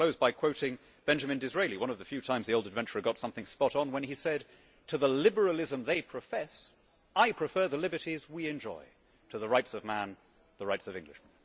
I will close by quoting Benjamin Disraeli, one of the few times the old adventurer got something spot on, when he said, To the liberalism they profess, I prefer the liberties we enjoy, to the Rights of Man, the rights of Englishmen.'